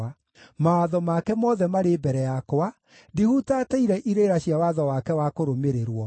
Mawatho make mothe marĩ mbere yakwa; ndihutatĩire irĩra cia watho wake wa kũrũmĩrĩrwo.